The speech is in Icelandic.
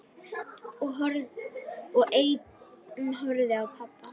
Og ein horfði á pabba.